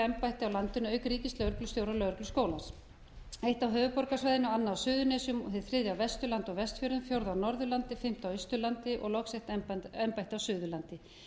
á landinu auk ríkislögreglustjóra og lögregluskólans eitt á höfuðborgarsvæðinu annað á suðurnesjum og hið þriðja á vesturlandi og vestfjörðum fjórða á norðurlandi fimmta á austurlandi og loks eitt embætti á suðurlandi